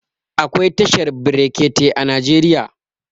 Akwai tashar brekete a Najeriya.